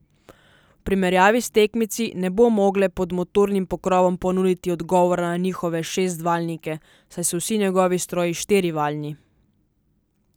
V primerjavi s tekmeci ne bo mogle pod motornim pokrovom ponuditi odgovora na njihove šestvaljnike, saj so vsi njegovi stroji štirivaljni.